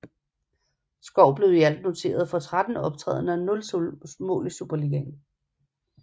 Skov blev i alt noteret for 13 optrædender og nul mål i Superligaen